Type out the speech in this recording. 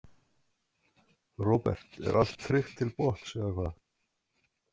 Róbert: Er allt tryggt til botns eða hvað?